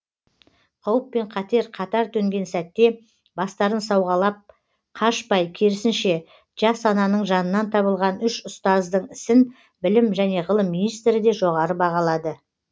қауіп пен қатер қатар төнген сәтте бастарын сауғалап қашпай керісінше жас ананың жанынан табылған үш ұстаздың ісін білім және ғылым министрі де жоғары бағалады